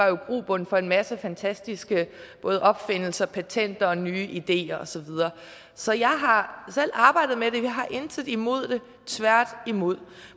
jo grobund for en masse fantastiske både opfindelser patenter nye ideer og så videre så jeg har selv arbejdet med det vi har intet imod det tværtimod